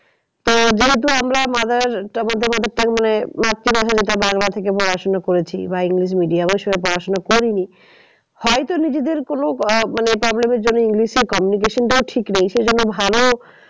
তো যেহেতু আমরা মাতৃ ভাষা যেটা বাংলা থেকে পড়াশোনা করেছি বা english medium সঙ্গে পড়াশোনা করিনি হয়তো নিজেদের কোনো আহ মানে problem এর জন্য english এর communication টাও ঠিক নেই। সেই জন্য ভালো